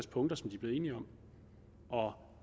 punkter som de blev enige om og